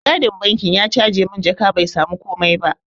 Mai gadin bankin ya caje mun jaka bai samu komai ba.